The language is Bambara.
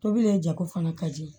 Tobili jako fana ka di